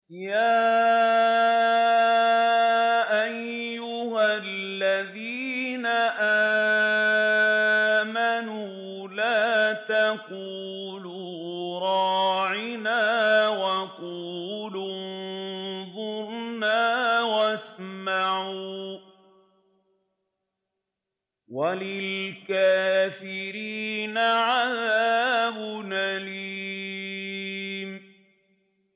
يَا أَيُّهَا الَّذِينَ آمَنُوا لَا تَقُولُوا رَاعِنَا وَقُولُوا انظُرْنَا وَاسْمَعُوا ۗ وَلِلْكَافِرِينَ عَذَابٌ أَلِيمٌ